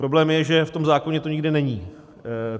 Problém je, že v tom zákoně to nikde není.